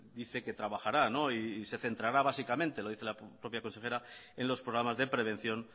dice que trabajará y se centrará básicamente lo dice la propia consejera en los programas de prevención